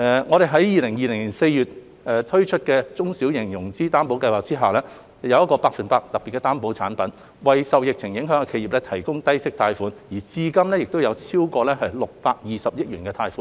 我們於2020年4月在"中小企融資擔保計劃"下，推出百分百特別擔保產品，為受疫情影響的企業提供低息貸款，至今已批出超過620億元貸款。